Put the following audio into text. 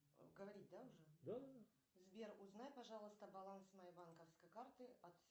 сбер узнай пожалуйста баланс моей банковской карты